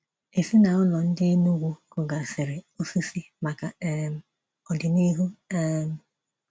Ezinaụlọ ndị Enugwu kụgasịrị osisi maka um ọdịnihu. um